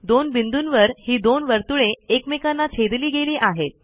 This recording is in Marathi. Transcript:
दोन बिंदूंवर ही दोन वर्तुळे एकामेकांना छेदली गेली आहेत